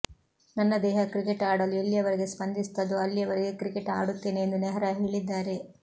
ನನ್ನ ದೇಹ ಕ್ರಿಕೆಟ್ ಆಡಲು ಎಲ್ಲಿಯವರೆಗೆ ಸ್ಪಂದಿಸುತ್ತದೋ ಅಲ್ಲಿಯವರೆಗೆ ಕ್ರಿಕೆಟ್ ಆಡುತ್ತೇನೆ ಎಂದು ನೆಹ್ರಾ ಹೇಳಿದ್ದಾರೆ